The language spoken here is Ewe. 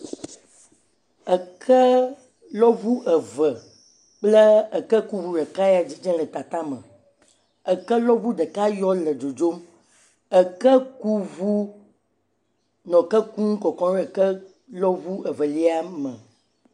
Ekelɔŋu eve kple ekekuŋu ɖekae ya dzidzem le kaka me. Eke lɔŋu ɖeka ya yɔ le dzodzom. Ekekuŋu nɔ eke lɔm nɔ kɔkɔm ɖe ekekuŋu ɖeka me.